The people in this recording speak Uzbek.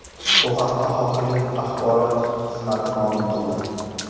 Bu haqda hokimlik axborot xizmati ma’lum qildi .